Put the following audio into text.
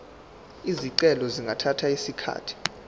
izicelo zingathatha isikhathi